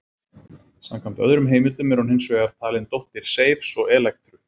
Samkvæmt öðrum heimildum er hún hins vegar talin dóttir Seifs og Elektru.